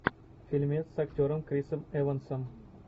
фильмец с актером крисом эвансом